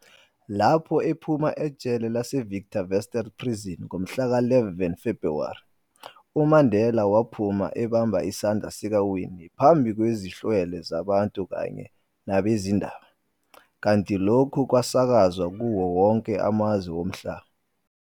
Lapho ephuma ejele lase-Victor Verster Prison ngomhla ka 11 Februwari, uMandela waphuma ebambe isandla sikaWinnie phambi kwezihlwele zabantu kanye nabezindaba, kanti lokhu kwasakazwa kuwo wonke amazwe omhlaba.